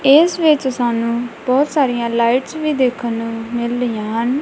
ਇਸ ਵਿੱਚ ਸਾਨੂੰ ਬਹੁਤ ਸਾਰੀਆਂ ਲਾਈਟਸ ਵੀ ਦੇਖਣ ਨੂੰ ਮਿਲ ਰਹੀਆਂ ਹਨ।